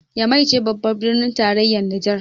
Nyamai ce babbar birnin tarayyar Nijar